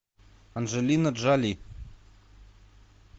анджелина джоли